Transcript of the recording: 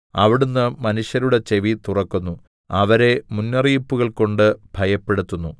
അവിടുന്ന് മനുഷ്യരുടെ ചെവി തുറക്കുന്നു അവരെ മുന്നറിയിപ്പുകൾ കൊണ്ട് ഭയപ്പെടുത്തുന്നു